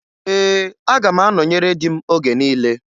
Ee, aga m anọnyere di m oge niile